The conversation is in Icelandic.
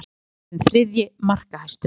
Bent orðinn þriðji markahæstur